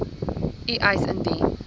u eis indien